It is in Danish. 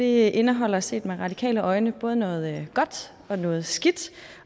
indeholder set med radikale øjne både noget godt og noget skidt